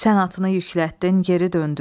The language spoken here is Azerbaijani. Sən atını yüklətdin, geri döndün.